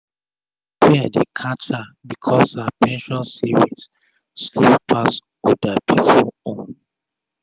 fear dey catch her becos her pension saving slow pass oda pipu own